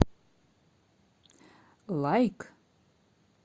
лайк